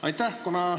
Aitäh!